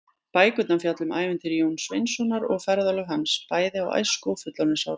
Bækurnar fjalla um ævintýri Jóns Sveinssonar og ferðalög hans, bæði á æsku- og fullorðinsárum.